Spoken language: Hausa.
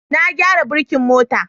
Na gyara birkin mota